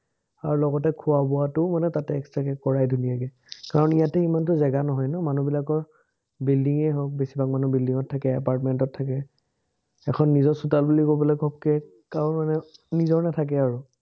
আৰু লগতে খোৱা-বোৱাটো মানে তাতে extra কে কৰায়, ধুনীয়াকে। কাৰণ ইয়াতে ইমানটো জেগা নহয় ন, মানুহবিলাকৰ building এ হক, কিছুমান মানুহ building ত থাকে, apartment ত থাকে, এখন নিজৰ চোতাল বুলি কবলে ঘপকে কাৰো মানে নিজৰ নাথাকে আৰু।